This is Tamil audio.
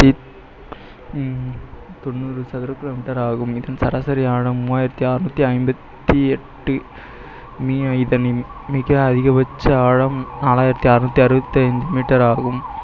தொண்ணூறு சதுர kilometer ஆகும் இதன் சராசரி ஆழம் மூவாயிரத்தி அறுநூத்தி ஐம்பத்தி எட்டு மிக அதிகபட்ச ஆழம் நாலாயிரத்தி அறுநூத்தி அறுபத்தி ஐந்து meter ஆகும்